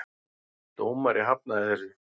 Dómari hafnaði þessu.